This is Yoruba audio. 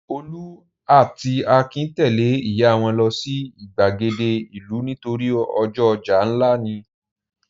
Olú ató Akin tẹ̀lé ìyá wọn lọ sí ìgbàgede ìlú nítorí ọjọ́ ọjà ńlá ni.